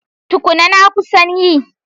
Tukuna, na kusan yi.